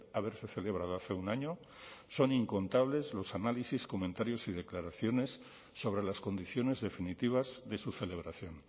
haberse celebrado hace un año son incontables los análisis comentarios y declaraciones sobre las condiciones definitivas de su celebración